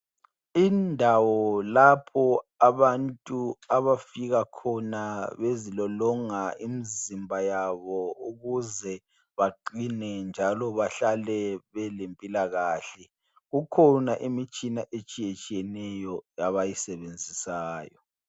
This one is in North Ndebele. Indawo lapho abantu abafika khona bezilolonga imizimba yabo ukuze baqine, njalo bahlale belempilakahle. Kukhona imitshina etshiyetshiyeneyo abayisebenzisayo.